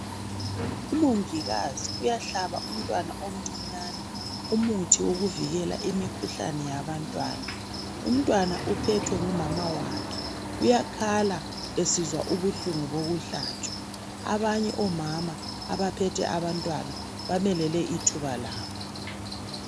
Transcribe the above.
Umongikazi uyahlaba umntwana omcinyane umuthi wokuvikela imikhuhlane yabantwana. Umntwana uphethwe ngumama wakhe. Uyakhala esizwa ubuhlungu bokuhlatshwa. Abanye omama abaphethe abantwana bamelele ithuba labo.